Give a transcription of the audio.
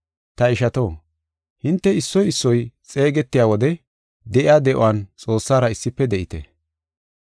Ta ishato, hinte issoy issoy xeegetiya wode de7iya de7uwan Xoossara issife de7ite.